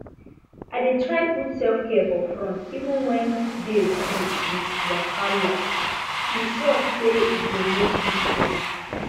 i dey try put selfcare for front even when day full with wahalae sure say e go make big change